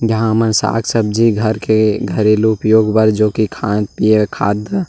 यहाँ हमन साग सब्जी घर के घरेलू उपयोग बर जो कि खान पिए कीे खात --